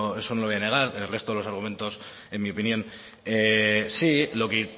no lo voy a negar el resto de los argumentos en mi opinión sí lo que